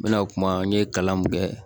N mɛna kuma n ye kalan mun kɛ